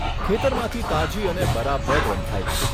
ખેતરમાંથી તાજી અને બરાબર રંધાયેલી.